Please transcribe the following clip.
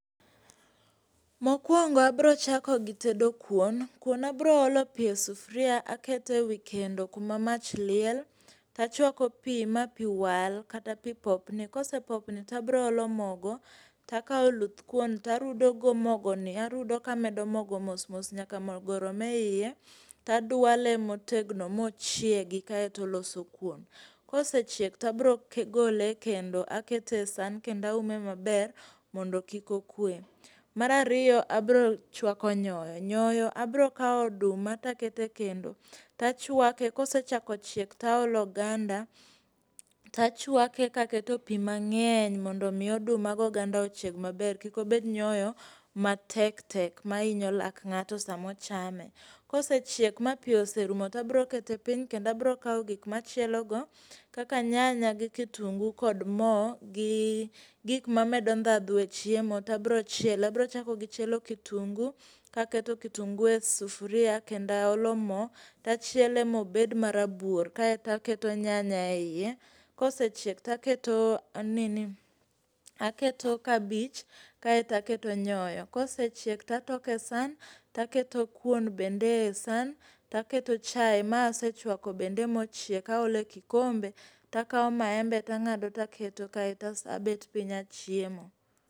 Mokwongo abiro chako gitedo kuon. Kuon abiro olo pi e sufuria aketo e wikendo kuma mach liel. To achwako pi, ma pi wal kata pi popni. Kose popni to abiro olo mogo, takao oluth kuon tarudo go mogoni arudo kamedo mogo mos mos nyaka mogo rom eiye. Taduale motegno mochiegi kaeto oloso kuon. Kose chiek tabro gole e kendo, akete san, kendo aume maber mondo kik okwe. Mara ariyo, abiro chwako nyoyo. Nyoyo abiro kawo oduma to akete kendo. Tachwake, kose chako chiek to aole oganda, tachuake kaketo pi ma ng'eny mondo omi oduma gi oganda ochieg maber kikobed nyoyo matektek ma hinyo lak ng'ato sams ochame. Kose chiek ma pi oserumo to abiro kete piny kenda abiro kawo gik ma achielogo kaka nyanya gi kitungu kod mo gi gik mamedo ndhadhue chiemo tabiro chiele. Abiro chako gi chielo kitungu, kaketo kitungu e sufuria kendo a olo mo, tachiele mobed marabuor kaeto aketo nyanya eiye. Kose chiek taketo nini, aketo kabich, kaeto aketo nyoyo. Kose chiek tatoke san taketo kuon bende e san. To aketo chai ma asechwako bende mochiek. Aolo e kikombe takao maembe to angado taketo kas abet piny achiemo.